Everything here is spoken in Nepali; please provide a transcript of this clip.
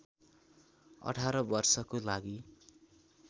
१८ वर्षको लागि